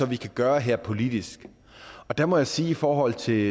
vi kan gøre her politisk der må jeg sige i forhold til